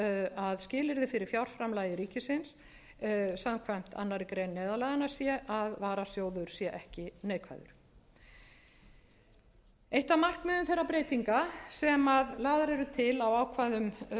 að skilyrði fyrir fjárframlagi ríkisins samkvæmt annarri grein neyðarlaganna sé að varasjóður sé ekki neikvæður eitt af markmiðum þeirra breytinga sem lagðar eru til á ákvæðum